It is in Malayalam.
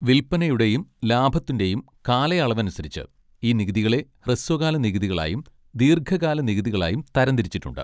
വില്പനയുടെയും ലാഭത്തിൻ്റെയും കാലയളവനുസരിച്ച് ഈ നികുതികളെ ഹ്രസ്വകാല നികുതികളായും ദീർഘകാല നികുതികളായും തരംതിരിച്ചിട്ടുണ്ട്.